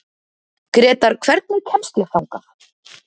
Grétar, hvernig kemst ég þangað?